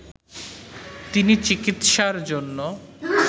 তিনি চিকিৎসার জন্য